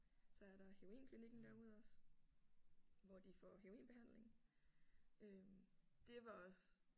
Så er der heroinklinikken derude også hvor de får heroinbehandling øh. Det var også